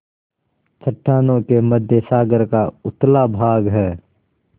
चट्टानों के मध्य सागर का उथला भाग है